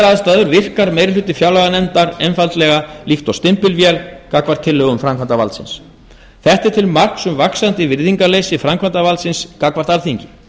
aðstæður virkar meirihluti fjárlaganefndar einfaldlega líkt og stimpilvél gagnvart tillögum framkvæmdarvaldsins þetta er til marks um vaxandi virðingarleysi framkvæmdarvaldsins gagnvart alþingi